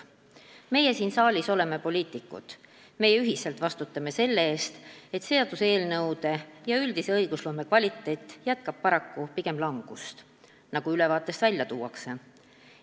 " Meie siin saalis oleme poliitikud, meie ühiselt vastutame selle eest, et seaduseelnõude ja üldise õigusloome kvaliteet jätkab paraku pigem langust, nagu ülevaates välja tuuakse.